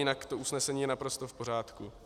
Jinak to usnesení je naprosto v pořádku.